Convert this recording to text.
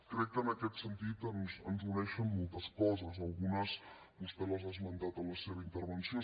crec que en aquest sentit ens uneixen moltes coses algunes vostè les ha esmentades en la seva intervenció